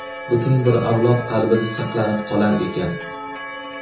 butun bir avlod qalbida saqlanib qolar ekan.